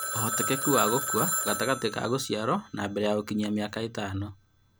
Ũhotekeku wa gũkua gatagatĩ ka gũciarwo na mbere ya gũkinyia mĩaka ĩtano